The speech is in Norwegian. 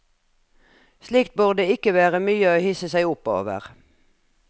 Slikt burde ikke være mye å hisse seg opp over.